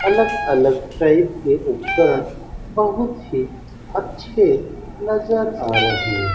अलग अलग टाइप के उपकरण बहुत ही अच्छे नजर आ रहे --